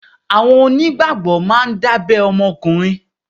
Àwọn onígbàgbọ́ máa ń dábẹ́ ọmọkùnrin.